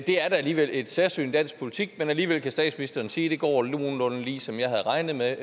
er da alligevel et særsyn i dansk politik men alligevel kan statsministeren sige at det går nogenlunde ligesom han havde regnet med